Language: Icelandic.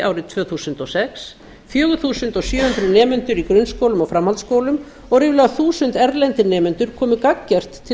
árið tvö þúsund og sex fjögur þúsund sjö hundruð nemendur í grunnskólum og framhaldsskólum og ríflega þúsund erlendir nemendur komu gagngert til